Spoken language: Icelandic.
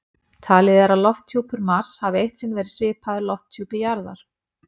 Talið er að lofthjúpur Mars hafi eitt sinn verið svipaður lofthjúpi jarðar.